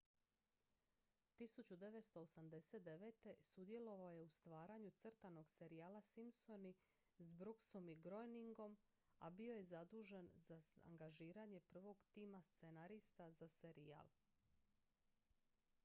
1989. sudjelovao je u stvaranju crtanog serijala simpsoni s brooksom i groeningom a bio je bio zadužen za angažiranje prvog tima scenarista za serijal